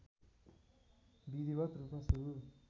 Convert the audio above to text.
विधिवत रूपमा सुरु